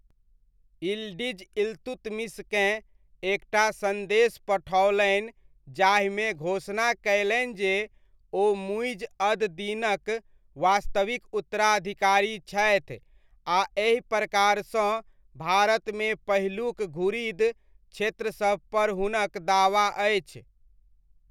Yildiz इल्तुतमिशकेँ एकटा सन्देश पठओलनि जाहिमे घोषणा कयलनि जे ओ मुइज़ अद दीनक वास्तविक उत्तराधिकारी छथि आ एहि प्रकारसँ भारतमे पहिलुक घुरिद क्षेत्रसभ पर हुनक दावा अछि।